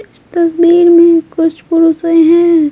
इस तस्वीर में कुछ पुरुषे हैं।